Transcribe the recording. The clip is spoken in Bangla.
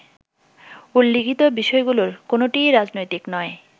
উল্লিখিত বিষয়গুলোর কোনোটিই রাজনৈতিক নয়।